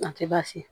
A tɛ baasi